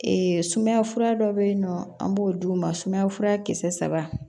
sumaya fura dɔ bɛ yen nɔ an b'o d'u ma sumaya fura kisɛ saba